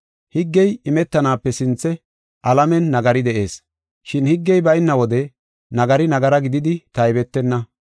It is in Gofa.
Higgey imetanaape sinthe alamen nagari de7ees, shin higgey bayna wode nagari nagara gididi taybetenna.